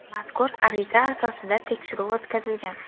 Mazkur ariza asosida tekshiruv o‘tkazilgan.